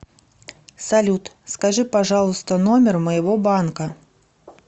салют скажи пожалуйста номер моего банка